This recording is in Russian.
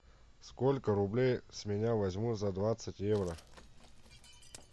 сколько рублей с меня возьмут за двадцать евро